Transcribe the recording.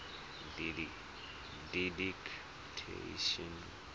didactician